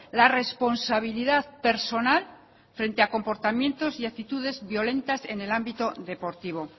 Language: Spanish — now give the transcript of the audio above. la responsabilidad personal frente a comportamientos y actitudes violentas en el ámbito deportivo